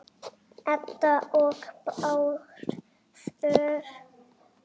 Edda og Bárður.